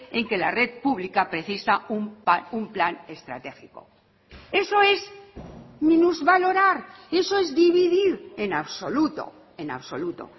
en que la red pública precisa un plan estratégico eso es minusvalorar y eso es dividir en absoluto en absoluto